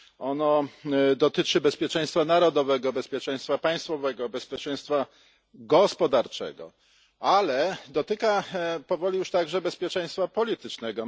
Ono dotyczy bezpieczeństwa narodowego, bezpieczeństwa państwowego, bezpieczeństwa gospodarczego, ale dotyka powoli już także bezpieczeństwa politycznego.